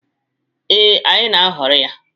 Ee, anyị na-aghọrị ya.